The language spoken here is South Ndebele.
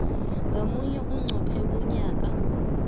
ngamunye qobe mnyaka